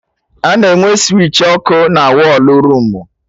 A na-enwe switchi ọkụ na wọlụ room